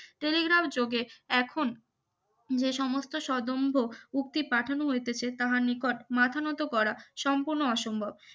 Telegraph যোগে এখন যে সমস্ত সদম্ভ উক্তি পাঠানো হইতেছে তাহার নিকট মাথা নত করা সম্পূর্ণ অসম্ভব